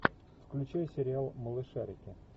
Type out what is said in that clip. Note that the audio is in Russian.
включай сериал малышарики